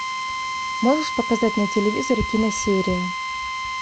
можешь показать на телевизоре киносерия